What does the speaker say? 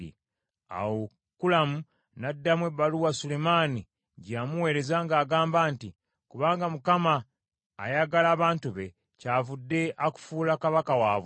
Awo Kulamu n’addamu ebbaluwa Sulemaani gye yamuweereza ng’agamba nti, “Kubanga Mukama ayagala abantu be, kyavudde akufuula kabaka waabwe.”